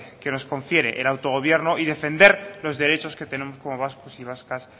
que nos confiere el auto gobierno y defender los derechos que tenemos como vascos y vascas